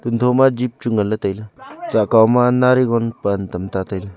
do ma jep chu ngan ley tai ley sa kaw ma narigon pan tam ta tai ley.